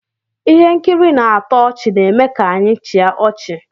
ihe nkiri na-atọ ọchị na-eme ka anyị chịa ọchị